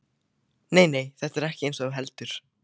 Nei, nei, þetta er ekkert eins og þú heldur.